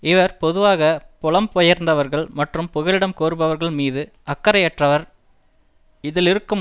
இவர் பொதுவாக புலம்பெயர்ந்தவர்கள் மற்றும் புகலிடம் கோருபவர்கள் மீது அக்கறையற்றவர் இதிலிருக்கும்